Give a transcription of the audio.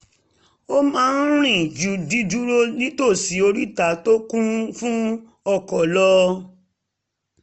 ó máa ń rìn ju dídúró nítòsí oríta tó kún fún ọkọ̀ lọ